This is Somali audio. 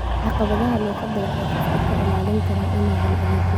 Caqabadaha luqadda waxay qofka ka ilaalin karaan inuu helo adeegyo.